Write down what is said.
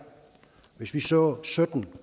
hvis vi så sytten